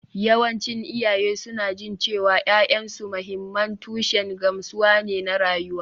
Yawancin iyaye suna jin cewa ’ya’yansu mahimman tushen gamsuwa ne na rayuwa